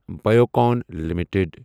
Biocon limited